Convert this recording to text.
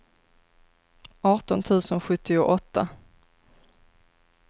arton tusen sjuttioåtta